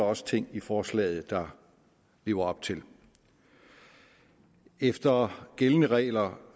også ting i forslaget der lever op til efter gældende regler